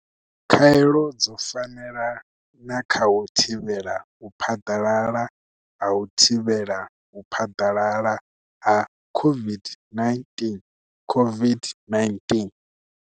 Khaelo dzo fanela na kha u thivhela u phaḓalala ha u thivhela u phaḓalala ha COVID-19 COVID-19.